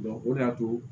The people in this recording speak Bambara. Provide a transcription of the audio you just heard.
o de y'ato